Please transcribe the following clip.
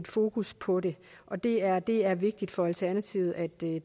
fokus på det og det er det er vigtigt for alternativet at det